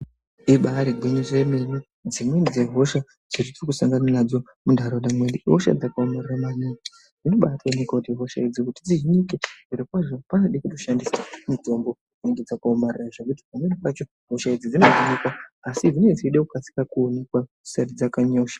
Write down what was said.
Ibaari gwinyiso yemene dzimweni dzehosha dzetiri kusangana nadzo hosha muntaraunda mwedu ihosha dzinenge dzakaomarara maningi dzinobaatooneka kuti hosha idzi kuti dzihinike. Zvirokwazvo panode kutoshandise mitombo dzinenge dzakaomarara zvekuti pamweni pacho hosha idzi dzinohinika asi dzinenge dzichida kukasika kuonekwa dzisati dzanyanya kusha...